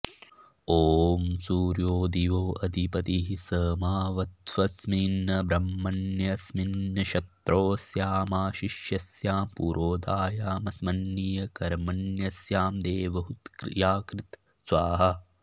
ॐ सूर्यो दिवोऽधिपतिः स माऽवत्वस्मिन् ब्रह्मण्यस्मिन् क्षत्रोऽस्यामाशिष्यस्यां पुरोधायामस्मिन् कर्मण्यस्यां देवहूत्याकृ स्वाहा